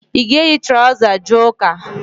Ị ga-eyi traụza a jee ụ́kà?